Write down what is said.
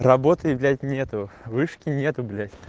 работы блять нету вышки нету блять